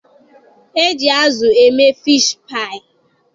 E ji azụ eme fishi paayị..